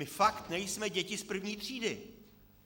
My fakt nejsme děti z první třídy.